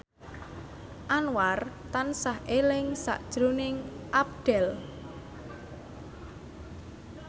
Anwar tansah eling sakjroning Abdel